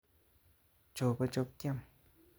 Chopo'chop kiam